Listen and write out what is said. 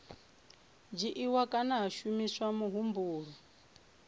dzhiiwa kana ha shumiswa muhumbulo